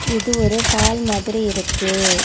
இது ஒரு ஹால் மாதிரி இருக்கு.